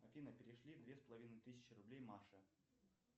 афина перешли две с половиной тысячи рублей маше